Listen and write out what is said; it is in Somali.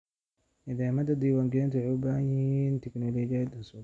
Nidaamyada diiwaangelintu waxay u baahan yihiin tignoolajiyad cusub.